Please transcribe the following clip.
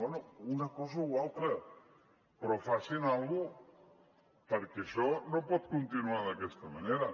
bé una cosa o l’altra però facin alguna cosa perquè això no pot continuar d’aquesta manera